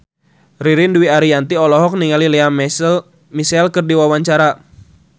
Ririn Dwi Ariyanti olohok ningali Lea Michele keur diwawancara